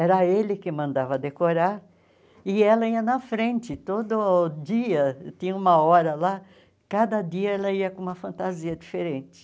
Era ele que mandava decorar e ela ia na frente todo dia, tinha uma hora lá, cada dia ela ia com uma fantasia diferente.